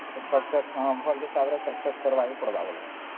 ଭଲ ହିସାବାରେ Success କରିବା କେ ପଡ଼ିବ